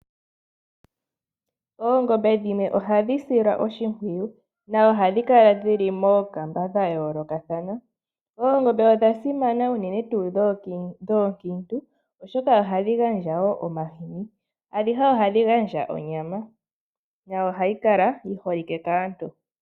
Oongombe dhimwe ohadhi silwa oshimpwiyu no ohadhi kala dhili mookamba dhayoolokathana. Oongombe odha simana uunene tuu dhoonkintu oshoka ohadhi gandja omahini adhihe ohadhi gandja onyama no ohayi kala yiholike kaantu.